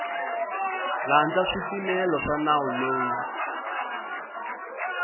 landza swipimelo swa nawu lowu